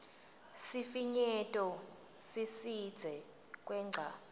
sifinyeto sisidze kwengca